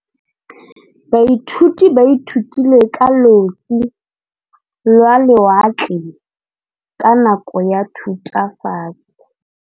Baithuti ba ithutile ka losi lwa lewatle ka nako ya Thutafatshe.